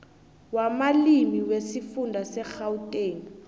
wamalimi wesifunda segauteng